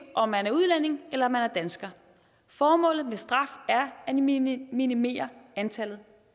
om man er udlænding eller man er dansker formålet med straf er at minimere minimere antallet